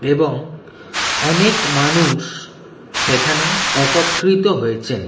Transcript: এবং অনেক মানুষ সেখানে একত্রিত হয়েছেন।